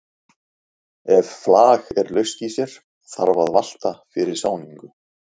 Ef flag er laust í sér þarf að valta fyrir sáningu.